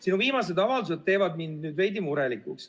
Sinu viimased avaldused teevad mind veidi murelikuks.